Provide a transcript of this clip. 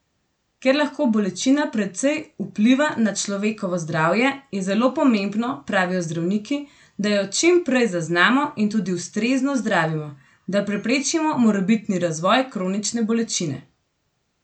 Ker lahko bolečina precej vpliva na človekovo zdravje, je zelo pomembno, pravijo zdravniki, da jo čim prej zaznamo in tudi ustrezno zdravimo, da preprečimo morebitni razvoj kronične bolečine.